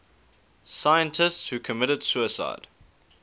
scientists who committed suicide